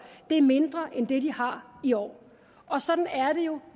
er mindre end det de har i år og sådan er det jo